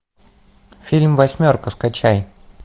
фильм восьмерка скачай